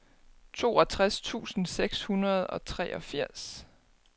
toogtres tusind seks hundrede og treogfirs